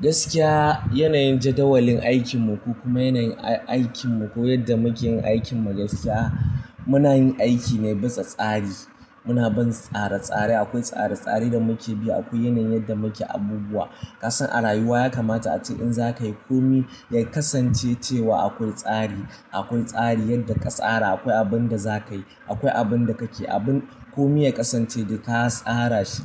Gaskiya yanayin jadawalin aikin mu ko kuma yanayin aikin mu ko yadda muke yin aikin magaskiya muna yin aiki ne bisa tsari. Muna bin tsare-tsare. Akwai tsare-tsare da muke bi. Akwai yanayin yadda muke abubuwa. Kasan a rayuwa ya kamata ace in za ka yi komi ya kasance cewa akwai tsari. Akwai tsari yadda ka tsara. Akwai abin da za ka yi. Akwai abin da kake. Abin komi ya kasance dai ka tsara shi.